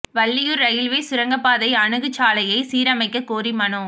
Valliyur railway சுரங்கப் பாதை அணுகு சாலையை சீரமைக்கக் கோரி மனு